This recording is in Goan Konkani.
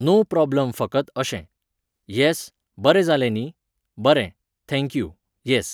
नो प्रॉब्लम फकत अशें. यॅस, बरें जालें न्ही? बरें, थँक यू, यॅस